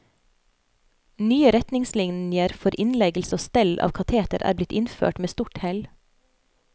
Nye retningslinjer for innleggelse og stell av kateter er blitt innført med stort hell.